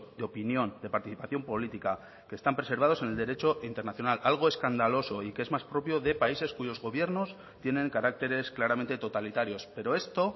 de opinión de participación política que están preservados en el derecho internacional algo escandaloso y que es más propio de países cuyos gobiernos tienen caracteres claramente totalitarios pero esto